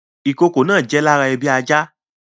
Ìkokò náà jẹ́ lára ebi ajá